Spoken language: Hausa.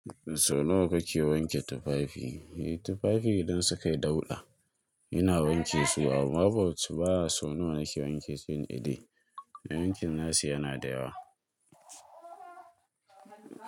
Sau nawa kake wanke tufafi? Tufafi idan suka yi dauɗa ina wanke su, amma bat ba a so nawa nake wanke su yin ade. Yankin nashi yana da yawa.